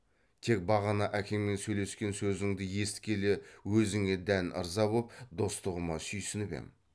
тек бағана әкеңмен сөйлескен сөзіңді есіткелі өзіңе дән ырза боп достығыма сүйсініп ем